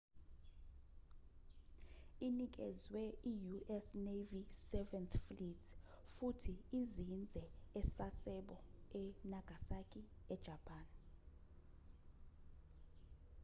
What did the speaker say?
inikezwe i-u.s. navy seventh fleet futhi izinze e-sasebo e-nagasaki e-japan